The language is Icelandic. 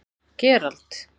Gerald